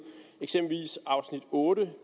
eksempelvis afsnit otte